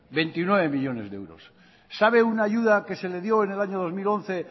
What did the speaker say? veintinueve millónes de euros sabe una ayuda que se le dio en el año dos mil once